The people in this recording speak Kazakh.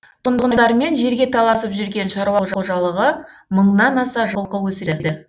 тұрғындармен жерге таласып жүрген шаруа қожалығы мыңнан аса жылқы өсіреді